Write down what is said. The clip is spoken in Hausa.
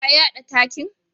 Ka yada takin?